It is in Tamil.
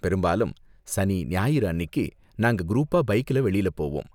பெரும்பாலும் சனி, ஞாயிறு அன்னிக்கு நாங்க குரூப்பா பைக்ல வெளில போவோம்.